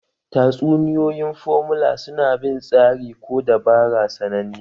Tatsuniyoyin formula su na bin tsari ko dabara sananne